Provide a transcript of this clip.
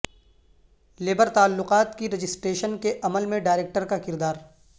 labour تعلقات کی registration کے عمل میں ڈائریکٹر کا کردار